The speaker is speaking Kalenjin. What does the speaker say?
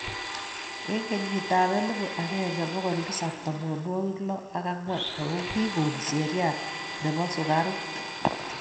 Eng kenyitab elbu agenge bokol tisab tamanwogik loo ak angwan ago kigon Sheria nebo sukaruk